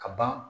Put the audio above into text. Ka ban